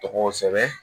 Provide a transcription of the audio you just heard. Tɔgɔw sɛbɛn